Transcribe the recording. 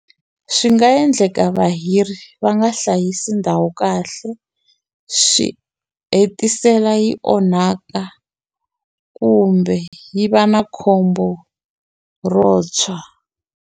Swi nga endleka vahiri va nga hlayisa ndhawu kahle swi hetisela yi onhaka kumbe yi va na khombo ro tshwa.